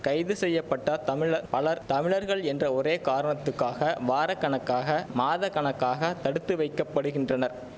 கைது செய்ய பட்ட தமிழ பலர் தமிழர்கள் என்ற ஒரே காரணத்துக்காக வாரக்கணக்காக மாதக்கணக்காக தடுத்து வைக்கப்படுகின்றனர்